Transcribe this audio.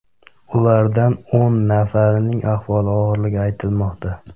Ulardan o‘n nafarining ahvoli og‘irligi aytilmoqda.